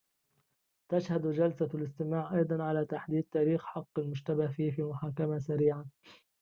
تشهد جلسة الاستماع أيضاً على تحديد تاريخ حق المشتبه فيه في محاكمة سريعة